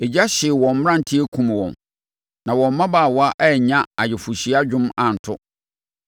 Egya hyee wɔn mmeranteɛ kumm wɔn, na wɔn mmabaawa annya ayeforɔhyia dwom anto;